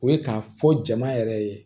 O ye k'a fɔ jama yɛrɛ ye